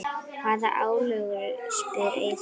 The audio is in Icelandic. Hvaða álögur? spyr Eyþór.